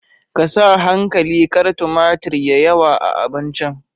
Ka sa hankali kar tumatir ya yawa a abincin